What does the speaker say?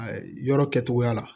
A yɔrɔ kɛcogoya la